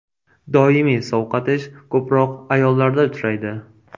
Doimiy sovqotish ko‘proq ayollarda uchraydi.